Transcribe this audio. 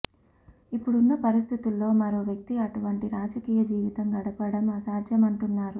ఇప్పుడున్న పరిస్థితుల్లో మరో వ్యక్తి అటువంటి రాజకీయ జీవితం గడపడం అసాధ్యమంటున్నారు